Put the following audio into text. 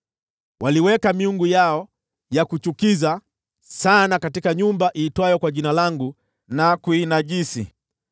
Waliweka miungu yao ya kuchukiza sana katika nyumba iitwayo kwa Jina langu na kuinajisi.